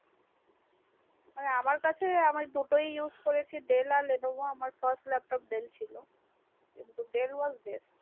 মানে আমার কাছে আমার দুটোই use করেছি আমার Levono আর আমার first lap top dell ছিল কিন্তু dell was best